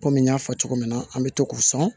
Kɔmi n y'a fɔ cogo min na an bɛ to k'u sɔn